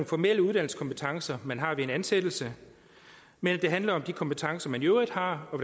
formelle uddannelseskompetencer man har ved en ansættelse men at det handler om de kompetencer man i øvrigt har og